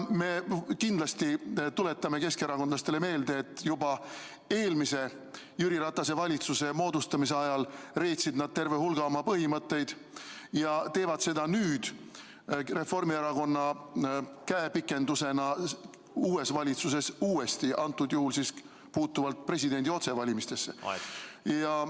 Me kindlasti tuletame keskerakondlastele meelde, et juba eelmise Jüri Ratase valitsuse moodustamise ajal reetsid nad terve hulga oma põhimõtteid ja teevad seda nüüd Reformierakonna käepikendusena uues valitsuses uuesti, antud juhul puutuvalt presidendi otsevalimisesse.